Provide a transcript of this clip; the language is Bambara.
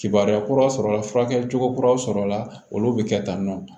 Kibaruya kura sɔrɔla furakɛli cogo kura sɔrɔla olu bɛ kɛ tantɔ